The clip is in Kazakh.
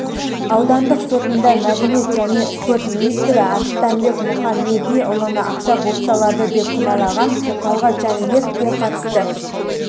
аудандық сотында мәдениет және спорт министрі арыстанбек мұхамедиұлыны ақша бопсалады деп кінәлаған талғат жәнібековке қатысты